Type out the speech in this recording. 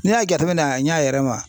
N'i y'a jateminɛ a ɲa yɛrɛ ma